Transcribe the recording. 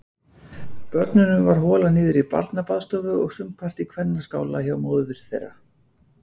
Börnunum var holað niður í barnabaðstofu og sumpart í kvennaskála hjá móður þeirra.